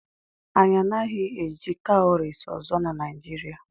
Anyị anaghị eji cowries ọzọ na Nigeria.